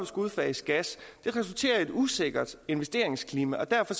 skulle udfase gas det resulterer i et usikkert investeringsklima og derfor